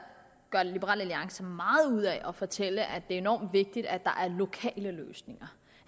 liberal alliance meget ud af at fortælle at det er enormt vigtigt at der er lokale løsninger